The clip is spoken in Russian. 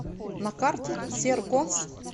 на карте серконс